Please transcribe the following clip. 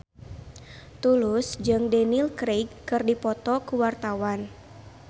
Tulus jeung Daniel Craig keur dipoto ku wartawan